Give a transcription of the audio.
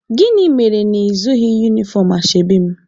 Gịnị mere na ị zụghị unifọm ashebi m?